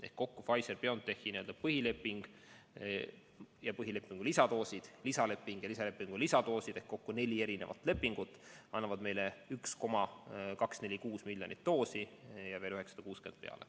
Ehk kokku Pfizer/BioNTechi põhileping ja põhilepingu lisadoosid ja lisaleping ja selle lisadoosid, seega kokku neli erinevat lepingut, annavad meile 1,246 miljonit doosi ja veel 960 peale.